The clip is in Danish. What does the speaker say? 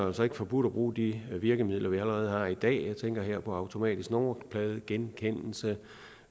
altså ikke forbudt at bruge de virkemidler vi allerede har i dag jeg tænker her på automatisk nummerpladegenkendelse